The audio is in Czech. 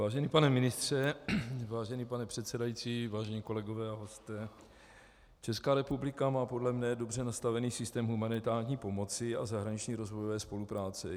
Vážený pane ministře, vážený pane předsedající, vážení kolegové a hosté, Česká republika má podle mě dobře nastavený systém humanitární pomoci a zahraniční rozvojové spolupráce.